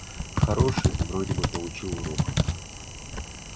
хороший вроде бы получил урок